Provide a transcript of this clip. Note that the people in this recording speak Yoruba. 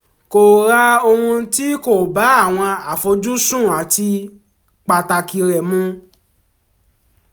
kò rà ohun tí kò bá àwọn àfojúsùn àti pàtàkì rẹ mú